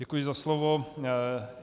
Děkuji za slovo.